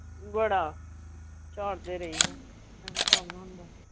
ਬੜਾ, ਝਾੜਦੇ ਰਹਿਦਾ .